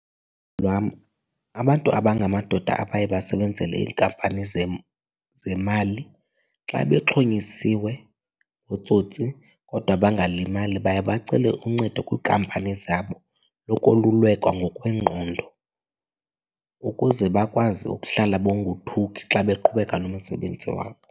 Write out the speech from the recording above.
Lwam, abantu abangamadoda abaye basebenzele iinkampani zemali xa bexhonyisiwe ngootsotsi kodwa bangalimali baye bacele uncedo kwinkampani zabo yokolulekwa ngokwengqondo ukuze bakwazi ukuhlala bongothuki xa beqhubeka nomsebenzi wabo.